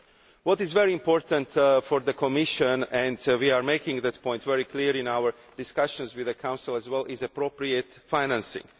What is very important for the Commission and we are making this point very clear in our discussions with the Council as well is appropriate financing.